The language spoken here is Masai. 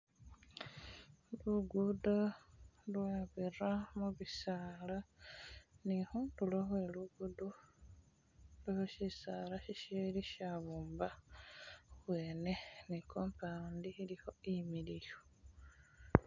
Lugudo lwabira mubisaala ni khundulo khwe lugudo khulikho shisaala si sili shabomba khubwene ne compound ilikho imiliyu.